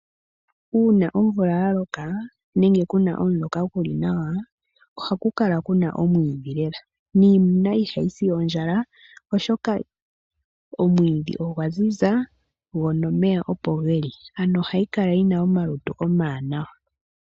Uuna omvula yaloka nenge kuna omuloka guli nawa ohaku kala kuna omwiidhi lela niimuna ihayi si ondjala lela oshoka omwiidhi ogwaziza go noomeya opo geli, ano ohayi kala yina omalutu omawanawa.